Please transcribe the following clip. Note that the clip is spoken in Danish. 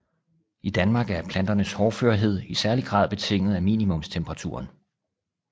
I Danmark er planternes hårdførhed i særlig grad betinget af minimumstemperaturen